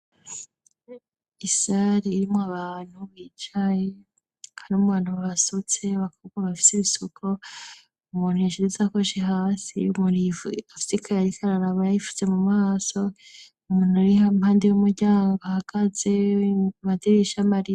Isari irimwo abantu bicaye handi umu bantu bbasutse bakabwa bafise ibisuko umuntu yishidize akoshi hasi b'umurifu afisika yarika ararabayayifutze mu maso umuntu arihe ampandi y'umuryango ahagazeomadirisha mariya.